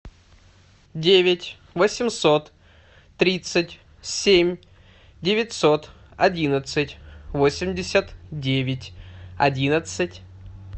девять восемьсот тридцать семь девятьсот одиннадцать восемьдесят девять одиннадцать